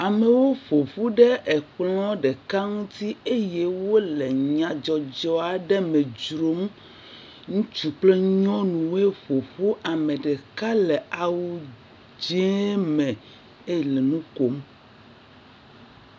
Amewo ƒo ƒu ɖe ekplɔ̃ ɖeka ŋuti eye wole nyadzɔdzɔ aɖe me dzrom. Ŋutsu kple nyɔnuwoe ƒo ƒu. Ame ɖeka le awu dzẽe me eye le nu kom.